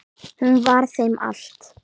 Hún var þeim allt.